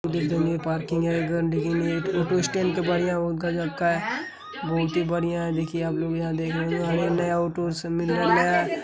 Parking है गंदगी नई है फोटो स्टैंड का बढ़िया बहुत गजब का है बहुत ही बढ़िया है। देखिये आप लोग यहाँ देख रहे है नया --